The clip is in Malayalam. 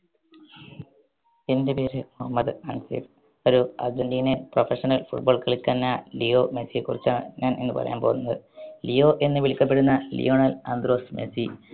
എൻറെ പേര് മുഹമ്മദ് അൻസീർ ഒരു argentinian professional football കളിക്കുന്ന ലിയോ മെസ്സിയെ കുറിച്ചാണ് ഞാൻ ഇന്ന് പറയാൻ പോകുന്നത് ലിയോ എന്ന് വിളിക്കപ്പെടുന്ന ലിയോണൽ ആൻഡ്രോസ് മെസ്സി